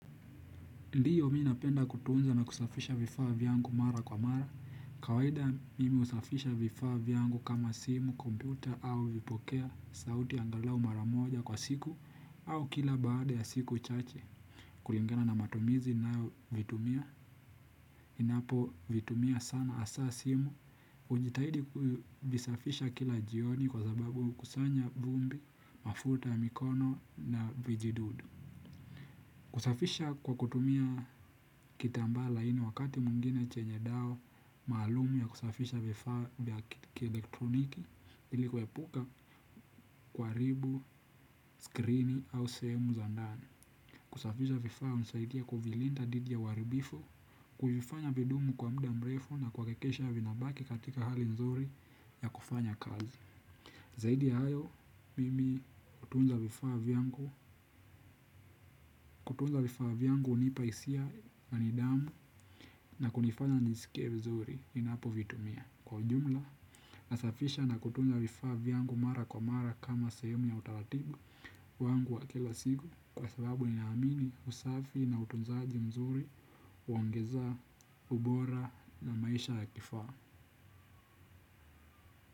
Ndio mi napenda kutunza na kusafisha vifaa vyangu mara kwa mara. Kawaida mimi husafisha vifaa vyangu kama simu, kompyuta au vipokeo sauti angalau mara moja kwa siku au kila baada ya siku chache. Kulingana na matumizi nayovitumia, ninapo vitumia sana hasa simu, hujitahidi kuvisafisha kila jioni kwa sababu hukusanya vumbi, mafuta ya mikono na vijidudu. Kusafisha kwa kutumia kitambaa laini wakati mwingine chenye dawa maalum ya kusafisha vifaa vya kielektroniki ili kuepuka kuharibu, skrini au sehemu za ndani. Kusafisha vifaa hunisaidia kuvilinda didhi ya uharibifu, kuvifanya vidumu kwa mda mrefu na kuhakikisha vinabaki katika hali nzuri ya kufanya kazi. Zaidi ya hayo, mimi hutunza vifaa vyangu. Kutunza vifaa vyangu hunipa hisia na nidhamu na hunifanya niskie vizuri ninapovitumia. Kwa ujumla, nasafisha na kutunza vifaa vyangu mara kwa mara kama sehemu ya utaratibu wangu wa kila siku kwa sababu ninaamini usafi na utunzaji mzuri, huongeza ubora na maisha ya kifaa.